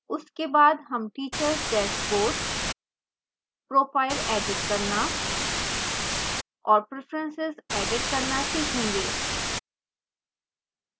उसके बाद हम teachers dashboard profile एडिट करना और preferences एडिट करना सीखेंगे